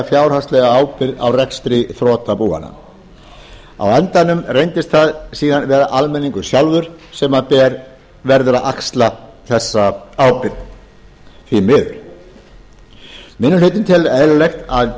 fjárhagslega ábyrgð á rekstri þrotabúanna á endanum reyndist það síðan vera almenningur sjálfur sem verður að axla þessa ábyrgð því miður minni hlutinn telur eðlilegt að